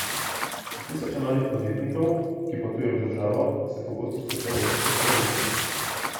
Na tisoče malih podjetnikov, ki potuje v državo, se pogosto skuša ogniti carini.